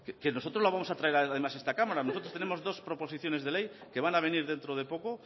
que nosotros lo vamos a traer además a esta cámara nosotros tenemos dos proposiciones de ley que van a venir dentro de poco